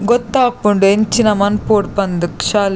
ಗೊತ್ತಾಪುಂಡು ಎಂಚಿನ ಮನ್ಪೊಡು ಪಂದ್ ಶಾ--